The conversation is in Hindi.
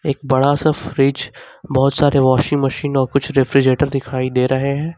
एक बड़ा सा फ्रिज बहुत सारे वाशिंग मशीन और कुछ रेफ्रिजरेटर दिखाई दे रहे हैं।